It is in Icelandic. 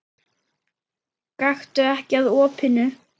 Gakktu ekki að opinu.